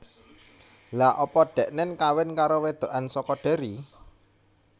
Lha apa deknen kawin karo wedokan soko Derry?